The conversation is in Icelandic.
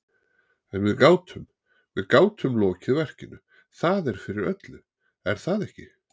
En við gátum, við gátum lokið verkinu, það er fyrir öllu, er það ekki?